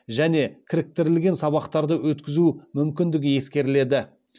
және кіріктірілген сабақтарды өткізу мүмкіндігі ескеріледі